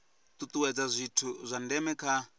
tutuwedza zwithu zwa ndeme kha